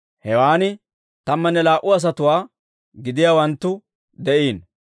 Hewaan tammanne laa"u asatuwaa gidiyaawanttu de'iino.